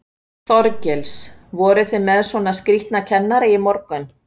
Þorgils: Voru þið með svolítið skrítna kennara í morgun?